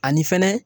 Ani fɛnɛ